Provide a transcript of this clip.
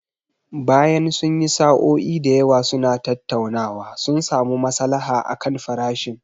Bayan sun yi sa'o'i da yawa suna tattaunawa, sun samu masalaha akan farashin.